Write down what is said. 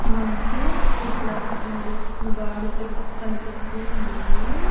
మనకి ఇక్కడ రెండు గాడిదెలు కనిపిస్తూ ఉన్నాయి.